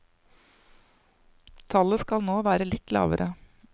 Tallet skal nå være litt lavere.